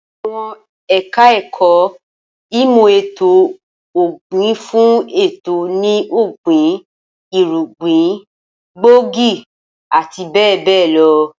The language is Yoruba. Awọn eka-eko imo eto-ògbìn nfun eto ni ogbin, irugbin gbóògì ati be be lo